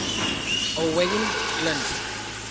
owain glynd